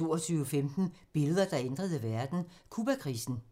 22:15: Billeder, der ændrede verden: Cubakrisen